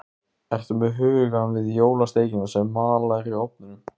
Ertu með hugann við jólasteikina sem mallar í ofninum?